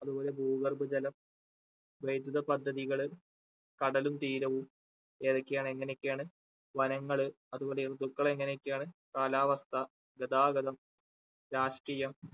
അതുപോലെ ഭൂഗർഭ ജലം, വൈദ്യുത പദ്ധതികള്, കടലും, തീരവും ഏതൊക്കെയാണ് എങ്ങനെയൊക്കെയാണ് വനങ്ങള് അതുപോലെ ഋതുക്കൾ എങ്ങനെയൊക്കെയാണ് കാലാവസ്‌ഥ, ഗതാഗതം, രാഷ്ട്രീയം